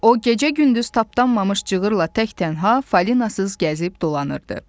O gecə-gündüz tapdanmamış cığırla tək-tənha, falinasız gəzib dolanırdı.